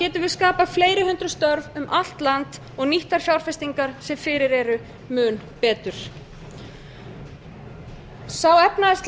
getum við skapað fleiri hundruð störf um allt land og nýtt þær fjárfestingar sem fyrir eru mun betur sá efnahagslegi viðsnúningur